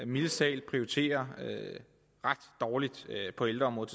mildest talt prioriterer ret dårligt på ældreområdet